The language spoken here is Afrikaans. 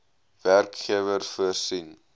werkgewer voorsien